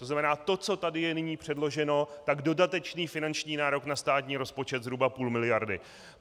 To znamená, to, co tady je nyní předloženo, tak dodatečný finanční nárok na státní rozpočet zhruba půl miliardy.